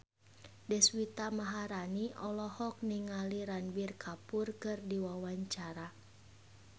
Deswita Maharani olohok ningali Ranbir Kapoor keur diwawancara